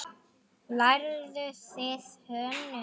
Lærðuð þið hönnun?